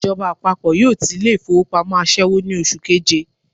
Ìjọba àpapọ̀ yóò ti ilé ìfowópamọ́ àṣẹ́wó ní oṣù keje